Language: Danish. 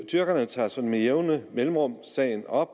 tyrkerne tager sådan med jævne mellemrum sagen op